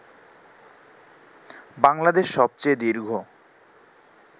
বাংলাদেশ সবচেয়ে দীর্ঘ